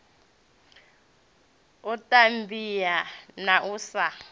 u tambea na u sa